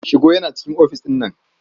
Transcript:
Shigo yana cikin ofis ɗin.